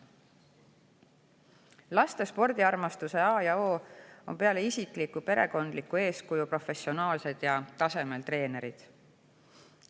Laste spordiarmastuse a ja o on peale isikliku perekondliku eeskuju professionaalsed ja tasemel treenerid.